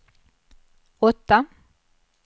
åtta